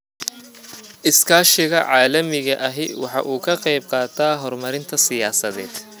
Iskaashiga caalamiga ahi waxa uu ka qayb qaataa horumarinta siyaasadda.